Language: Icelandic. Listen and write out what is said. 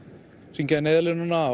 hringja í Neyðarlínuna